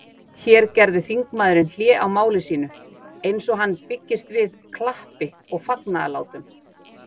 Hér gerði þingmaðurinn hlé á máli sínu, eins og hann byggist við klappi og fagnaðarlátum.